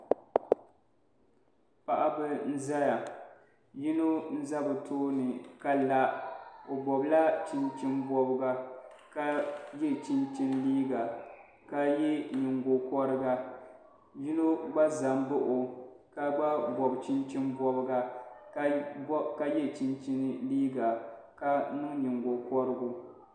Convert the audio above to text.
Paɣiba n zaya yino n za bi tooni ka la o nɔbila chinchini bɔbiga ka yɛ chinchini liiga ka yɛ yingokɔriga yino gba zam baɣi o ka gba bɔbi chinchini bɔbiga ka yɛ chinchini liiga ka niŋ yingokɔrigu